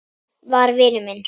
var vinur minn.